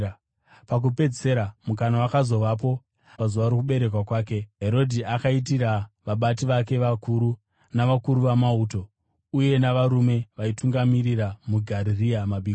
Pakupedzisira mukana wakazovapo. Pazuva rokuberekwa kwake, Herodhi akaitira vabati vake vakuru, navakuru vamauto uye navarume vaitungamirira muGarirea mabiko.